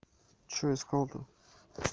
что искал то